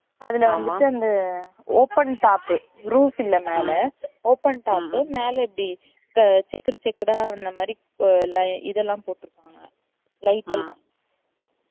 அதுல வந்துட்டு வந்து open top roof இல்லை மேல open top மேல இப்டி செக்குடு செக்குடுடா இந்த மாறி லை இதெல்லாம் போட்டு இருப்பாங்க light எல்லாம்